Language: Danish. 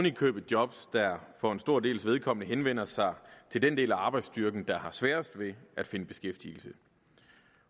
i købet job der for en stor dels vedkommende henvender sig til den del af arbejdsstyrken der har sværest ved at finde beskæftigelse